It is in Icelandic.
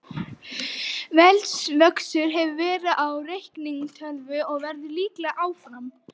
Veldisvöxtur hefur verið á reiknigetu tölva og verður líklega áfram.